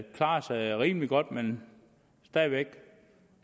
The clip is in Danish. klarer sig rimelig godt men stadig væk